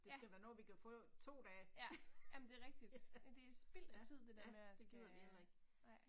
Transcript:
Ja. Ja, jamen det er rigtigt. Men er spild af tid det der med at skal, nej